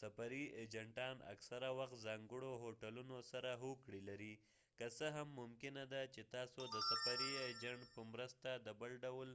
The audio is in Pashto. سفري اېجنټان اکثره وخت ځانګړو هوټلونو سره هوکړې لري که څه هم ممکنه ده چې تاسو د سفري اېجنټ په مرسته د بل ډول